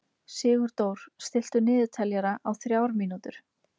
Sigurdór, stilltu niðurteljara á þrjár mínútur.